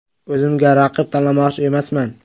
O‘zimga raqib tanlamoqchi emasman.